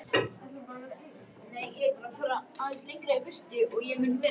En stundum ræðum við málin meira svona almennt.